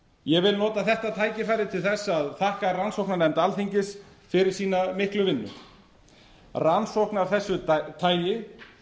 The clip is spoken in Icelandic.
ég vil nota þetta tækifæri til þess að þakka rannsóknarnefnd alþingis fyrir sína miklu vinnu rannsókn af þessu tagi